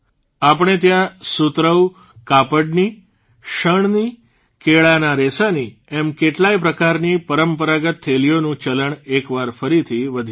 આપણે ત્યાં સુતરાઉ કાપડની શણની કેળાના રેસાની એમ કેટલાય પ્રકારની પરંપરાગત થેલીઓનું ચલણ એકવાર ફરીથી વધી રહ્યું છે